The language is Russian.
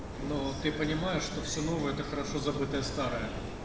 но ты понимаешь что все новое это хорошо забытое старое